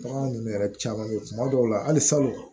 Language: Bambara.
Bagan ninnu yɛrɛ caman bɛ yen kuma dɔw la halisa